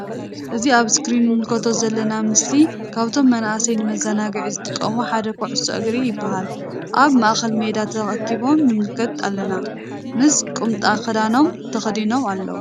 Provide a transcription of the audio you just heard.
ካዚ አብ እስክሪን እንምልከኦ ዘለና ምስል ካብቶም መንአሰይ ንመዘናግዒ ዝጠቅሙ ሓደ ኩዕሶ እግሪ ይበሃል::አብ ማእከል ሜዳ ተአኪቦም ንምልከት አለና ምስ ቁምጣ ክዳንም ተከዲኖም አለዉ::